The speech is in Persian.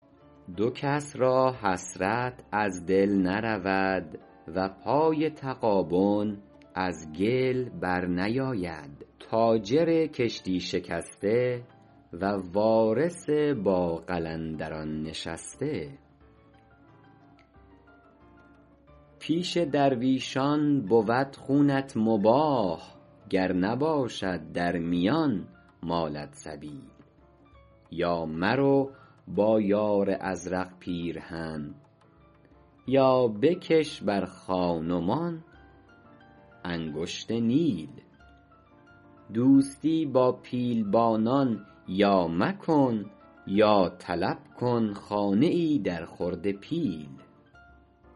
دو کس را حسرت از دل نرود و پای تغابن از گل بر نیاید تاجر کشتی شکسته و وارث با قلندران نشسته پیش درویشان بود خونت مباح گر نباشد در میان مالت سبیل یا مرو با یار ازرق پیرهن یا بکش بر خان و مان انگشت نیل دوستی با پیلبانان یا مکن یا طلب کن خانه ای در خورد پیل